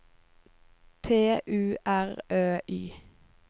T U R Ø Y